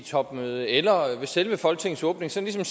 topmøde eller ved selve folketingets åbning sådan